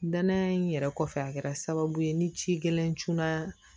Danaya in yɛrɛ kɔfɛ a kɛra sababu ye ni ci gɛlɛn cun na